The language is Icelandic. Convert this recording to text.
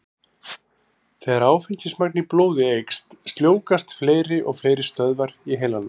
Þegar áfengismagn í blóði eykst, sljóvgast fleiri og fleiri stöðvar í heilanum.